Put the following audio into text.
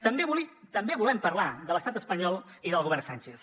també volem parlar de l’estat espanyol i del govern sánchez